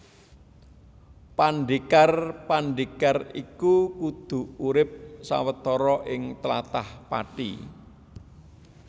Pandhékar pandhékar iku kudu urip sawetara ing tlatah Pati